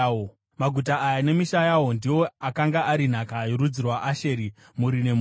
Maguta aya nemisha yawo ndiwo akanga ari nhaka yorudzi rwaAsheri, mhuri nemhuri.